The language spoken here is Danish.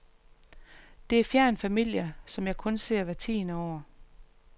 Det er fjern familie, som jeg kun ser hvert tiende år.